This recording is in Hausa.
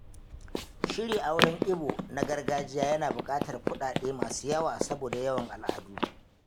Shirya auren Igbo na gargajiya yana bukatar kuɗaɗe masu yawa saboda yawan al’adu.